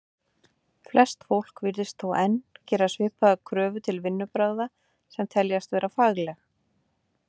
Flest fólk virðist þó enn þá gera svipaðar kröfur til vinnubragða sem teljast vera fagleg.